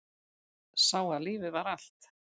Sá að lífið var allt.